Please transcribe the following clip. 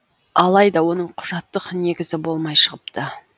алайда оның құжаттық негізі болмай шығыпты